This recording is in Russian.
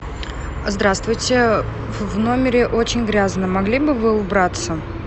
здравствуйте в номере очень грязно могли бы вы убраться